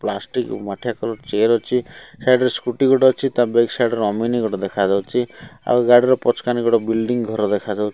plastic ମାଠିଆ colour chair ଅଛି side ରେ ସ୍କୁଟି ଗୋଟେ ଅଛି ତା ବେକ ସାଇଡ୍ ରେ ଅମିନି ଗୋଟେ ଦେଖା ଯାଉଛି ଆଉ ଗାଡି ର ପଛକାନି ଗୋଟେ ବିଲଡିଂ ଘର ଦେଖା ଯାଉ --